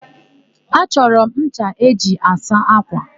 Achọrọ m ncha eji asụ ákwà.